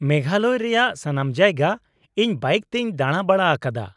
-ᱢᱮᱜᱷᱟᱞᱚᱭ ᱨᱮᱭᱟᱜ ᱥᱟᱱᱟᱢ ᱡᱟᱭᱜᱟ ᱤᱧ ᱵᱟᱭᱤᱠ ᱛᱤᱧ ᱫᱟᱬᱟᱼᱵᱟᱲᱟ ᱟᱠᱟᱫᱼᱟ᱾